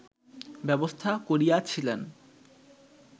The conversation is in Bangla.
ব্যবস্থা করিয়াছিলেন